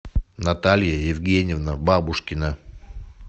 наталья евгеньевна бабушкина